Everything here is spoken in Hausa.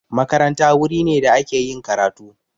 Makaranta wuri ne da ake yin karatu